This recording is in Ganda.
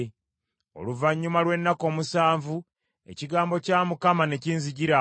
Oluvannyuma lw’ennaku omusanvu ekigambo kya Mukama ne kinzijira: